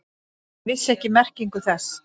Hann vissi ekki merkingu þess.